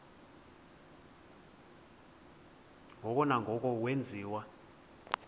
ngoko nangoko wenziwa